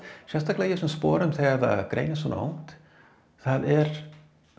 sérstaklega í þessum sporum þegar það greinist svona ungt það er